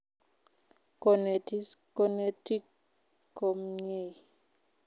Konetis konetik komnyei